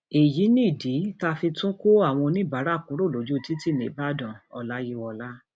èyí nìdí tá a fi tún kó àwọn oníbàárà kúrò lójú títì nìbàdànoláyíwọlá